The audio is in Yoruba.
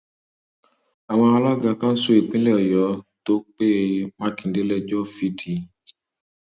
àwọn alága kánsù ìpínlẹ ọyọ tó pe mákindé lẹjọ fìdí